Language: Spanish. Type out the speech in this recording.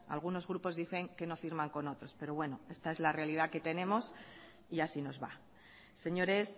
algunos grupos dicen que no firman con otros pero bueno esta es la realidad que tenemos y así nos va señores